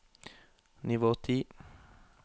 nivå ti